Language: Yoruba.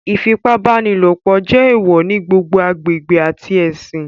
Ifipabanilopo jẹ eewọ ni gbogbo agbegbe ati ẹsin